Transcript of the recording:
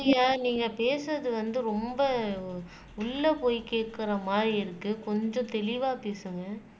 சந்தியா நீங்க பேசுறது வந்து ரொம்ப உள்ளே போய் கேட்கிற மாதிரி இருக்கு கொஞ்சம் தெளிவா பேசுங்க